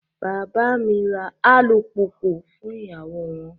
Bàbá mi ra alùpùpù fún ìyàwó won.